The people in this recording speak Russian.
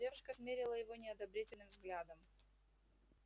девушка смерила его неодобрительным взглядом